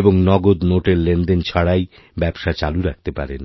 এবং নগদ নোটের লেনদেন ছাড়াইব্যবসা চালু রাখতে পারেন